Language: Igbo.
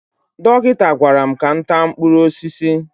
Dọkịta gwara m ka m taa mkpụrụ osisi